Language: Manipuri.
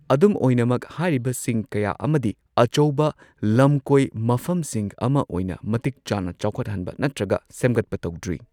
ꯑꯗꯨꯝ ꯑꯣꯏꯅꯃꯛ, ꯍꯥꯏꯔꯤꯕꯁꯤꯡ ꯀꯌꯥ ꯑꯃꯗꯤ ꯑꯆꯧꯕ ꯂꯝꯀꯣꯏ ꯃꯐꯝꯁꯤꯡ ꯑꯃ ꯑꯣꯏꯅ ꯃꯇꯤꯛ ꯆꯥꯅ ꯆꯥꯎꯈꯠꯍꯟꯕ ꯅꯠꯇ꯭ꯔꯒ ꯁꯦꯝꯒꯠꯄ ꯇꯧꯗ꯭ꯔꯤ꯫